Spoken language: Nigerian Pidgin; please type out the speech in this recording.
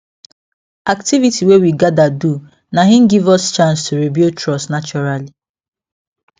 activity wey we gather do na hin give us chance to rebuild trust naturally